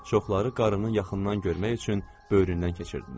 Çoxları qarını yaxından görmək üçün böyründən keçirdilər.